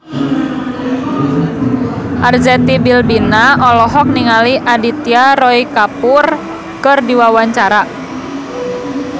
Arzetti Bilbina olohok ningali Aditya Roy Kapoor keur diwawancara